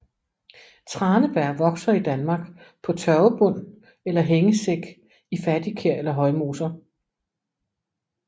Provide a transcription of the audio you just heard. Tranebær vokser i Danmark på tørvebund eller hængesæk i fattigkær eller højmoser